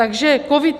Takže COVID -